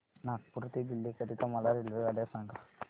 नागपुर ते दिल्ली करीता मला रेल्वेगाड्या सांगा